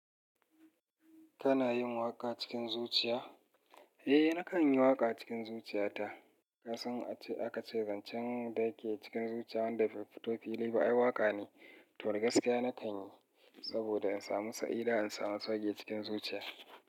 Kana yin waƙa cikin zuciya? Eh nakan yi waƙa cikin zuciyata. Ka san aka ce zancen da yake cikin zuciya wanda bai fito fili ba ai waƙa ne, to da gaskiya na kan yi saboda in samu sa'ida in samu su waje cikin zuciya.